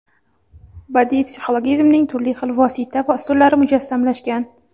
badiiy psixologizmning turli xil vosita va usullari mujassamlashgan.